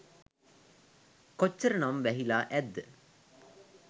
කොච්චර නම් වැහිලා ඇද්ද?